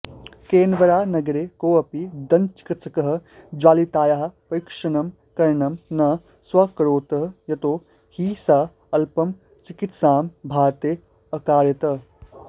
केन्बरानगरे कोऽपि दन्तचिकित्सकः ज्वलितायाः परिक्षणं करणं न स्व्यकरोत् यतो हि सा अल्पं चिकित्सां भारते अकारयत्